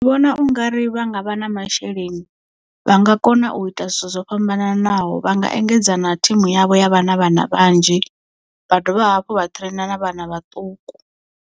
Ndi vhona ungari vha nga vha na masheleni vha nga kona u ita zwithu zwo fhambananaho vha nga engedza na thimu yavho ya vha na vhana vhanzhi vha dovha hafhu vha train na vhana vhaṱuku.